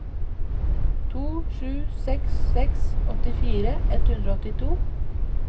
to sju seks seks åttifire ett hundre og åttito